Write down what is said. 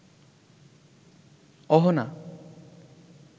Ahana